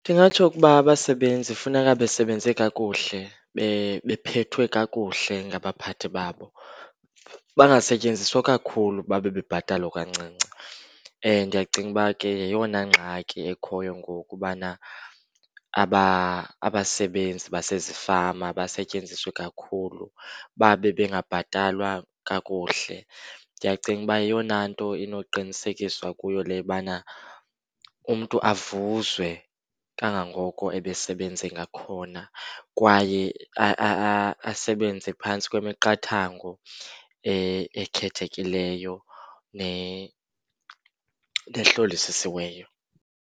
Ndingatsho ukuba abasebenzi funeka besebenze kakuhle, bephethwe kakuhle ngabaphathi babo. Bangasetyenziswa kakhulu babe bebhatalwa kancinci. Ndiyayacinga uba ke yeyona ngxaki ekhoyo ngoku ubana abasebenzi basezifama basetyenziswe kakhulu babe bengabhatalwa kakuhle. Ndiyacinga uba yeyona nto inokuqinisekiswa kuyo le ubana umntu avuzwe kangangoko ebesebenze ngakhona kwaye asebenze phantsi kwemiqathango ekhethekileyo nehlolisisiweyo.